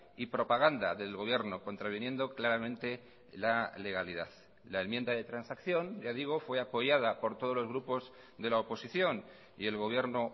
y propaganda del gobierno contraviniendo claramente la legalidad la enmienda de transacción ya digo fue apoyada por todos los grupos de la oposición y el gobierno